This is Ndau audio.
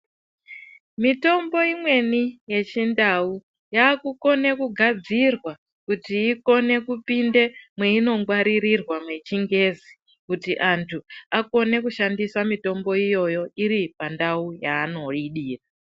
Mitombo imweni yechindau yakukone kugadzirwa kuti ikone kupinda mweinongwaririrwa mechingezi kuti antu akone kushandisa mitombo iyoyo iripandau yaanoidira.